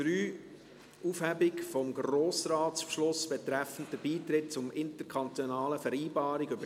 Dann gehen wir direkt zur Detailberatung über.